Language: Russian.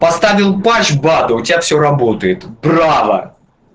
поставил патч баду тебя всё работает браво